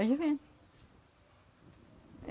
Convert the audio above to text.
Eles vendem.